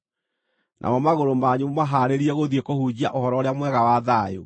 namo magũrũ manyu mũmahaarĩrie gũthiĩ kũhunjia Ũhoro-ũrĩa-Mwega wa thayũ.